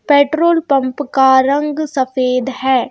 Petrol pump का रंग सफेद है।